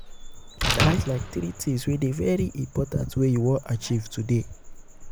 write like tiri tins wey dey very very important wey you wan achieve today